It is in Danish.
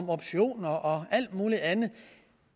optioner og alt muligt andet